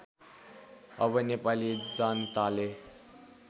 अब नेपाली जनताले